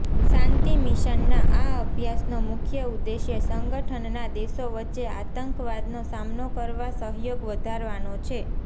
શાંતિ મિશનના આ અભ્યાસનો મુખ્ય ઉદ્દેશ્ય સંગઠનના દેશો વચ્ચે આંતકવાદનો સામનો કરવા સહયોગ વધારવાનો છે